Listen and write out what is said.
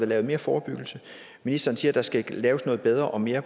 lavet mere forebyggelse ministeren siger at der skal laves noget bedre og mere